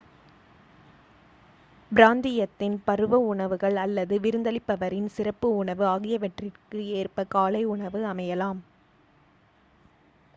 பிராந்தியத்தின் பருவ உணவுகள் அல்லது விருந்தளிப்பவரின் சிறப்பு உணவு ஆகியவற்றிற்கு ஏற்ப காலை உணவு அமையலாம்